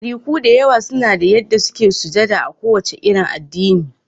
Ɗariku da yawa suna da yanda suke sujada a ko wace addini